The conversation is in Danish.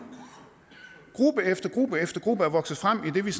gruppe efter gruppe efter gruppe er vokset frem i det